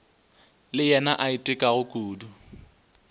le yena a itekago kudu